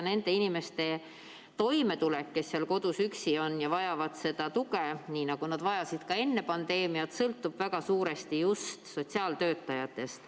Nende inimeste toimetulek, kes on kodus üksi ja vajavad tuge, nii nagu nad vajasid ka enne pandeemiat, sõltub suuresti just sotsiaaltöötajatest.